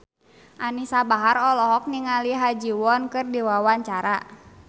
Anisa Bahar olohok ningali Ha Ji Won keur diwawancara